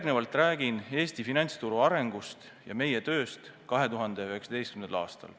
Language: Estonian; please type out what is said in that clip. Ma räägin Eesti finantsturu arengust ja meie tööst 2019. aastal.